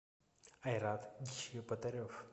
айрат чеботарев